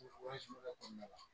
Wari kɔnɔna la